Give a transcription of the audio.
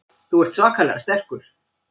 Þú ert svakalega sterkur.